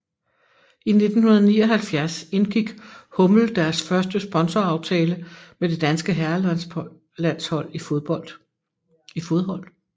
I 1979 indgik hummel deres første sponsoraftale med det danske herrelandshold i fodhold